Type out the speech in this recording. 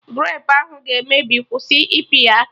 Grapu ahụ ga-emebi, kwụsị ịpị ya aka!